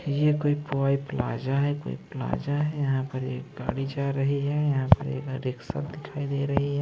ये कोई पुई प्लाजा है प्लाजा है यहां पर एक गाड़ी जा रही है यहां पर एक रिक्शा दिखाई दे रही है।